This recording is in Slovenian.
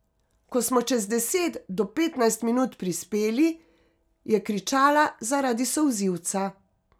Ko smo čez deset do petnajst minut prispeli, je kričala zaradi solzivca.